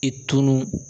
I tun